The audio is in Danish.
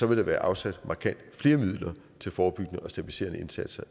vil der være afsat markant flere midler til forebyggende og stabiliserende indsatser